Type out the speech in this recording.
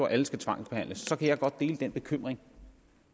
alle skal tvangsbehandles så kan jeg godt dele den bekymring